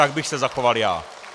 Tak bych se zachoval já.